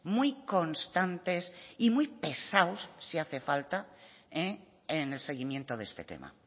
muy constantes y muy pesados si hace falta en el seguimiento de este tema